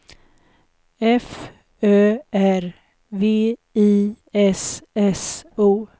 F Ö R V I S S O